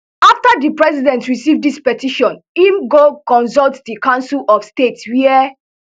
afta di president receive dis petition im go consult di council of state wia